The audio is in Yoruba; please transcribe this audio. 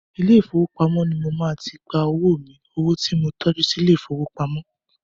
Ilé ìfowópamọ́ ni mo máa ti gba owó mi, owo tí mo tọ́jú sí ilé ìfowópamọ́.